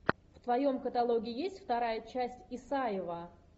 в твоем каталоге есть вторая часть исаева